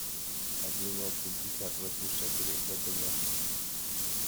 обменять пятьдесят восемь шекелей в втб